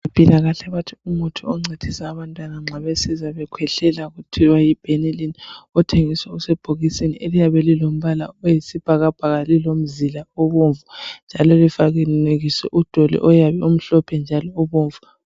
Abezempilakahle bathi umuthi oncedisa abantwana nxa bezizwa bekhwehlela, okuthiwa yiBenylin. Othengiswa usebhokisini, eliyabe lilombala oyisibhakabhaka. Lilomzila obomvu, njalo lifanekiswe udoli oyabe emhlophe njalo ubomvu.